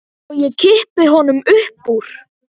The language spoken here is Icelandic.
Og ég kippi honum upp úr.